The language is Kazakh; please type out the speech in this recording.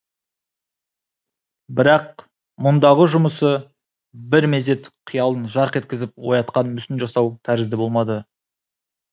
бірақ бұндағы жұмысы бір мезет қиялын жарқ еткізіп оятқан мүсін жасау тәрізді болмады